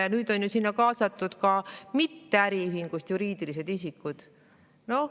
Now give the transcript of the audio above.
Ja nüüd on ju sinna kaasatud ka mitte-äriühingust juriidilised isikud.